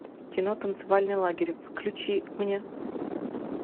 кино танцевальный лагерь включи мне